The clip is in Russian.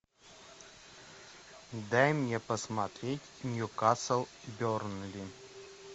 дай мне посмотреть ньюкасл бернли